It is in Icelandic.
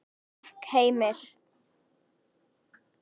Takk Heimir.